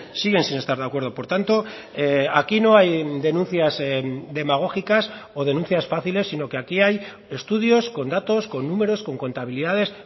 siguen sin estar de acuerdo por tanto aquí no hay denuncias demagógicas o denuncias fáciles sino que aquí hay estudios con datos con números con contabilidades